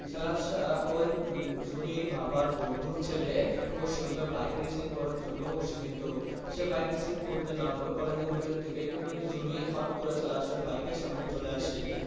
সাহেব ওই জুনির বাবার বন্ধুর ছেলে ওর সঙ্গে bike racing করার জন্য উৎসাহিত। সে bike racing করতে নামলো college এর ভিতর থেকে কিন্তু জুনি হুট্ করে সাহেব এর bike এর সামনে চলে আসে।